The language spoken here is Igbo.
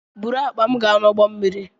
Buru akpa m gaa n'ụgbọ mmiri!